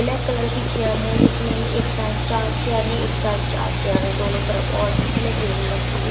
black colour की chair हैं जिसमें एक साइड चार चेयर हैं एक साइड चेयर है दोनों तरफ और बीच में टेबल रखे हुए--